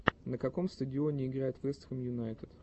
на каком стадионе играет вест хэм юнайтед